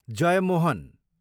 Jeyamohan